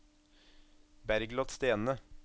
Bergliot Stene